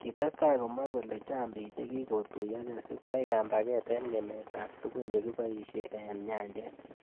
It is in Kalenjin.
Kitestai komwa kole chang bik chekikotuyokei sikwai kambaget eng ngemet ab tukun chekiboishe eng nyanjet.